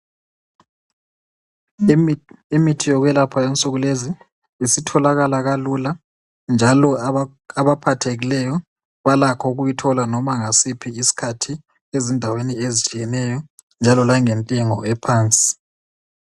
Imithi yokwelapha insuku lezi isitholakala kalula njalo abaphathekileyo balakho ukuyithola loba ngasiphi isikhathi ezindaweni ezitshiyeneyo njalo langentengo ephansi.